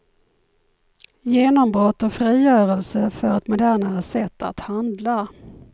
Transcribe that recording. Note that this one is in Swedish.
Genombrott och frigörelse för ett modernare sätt att handla.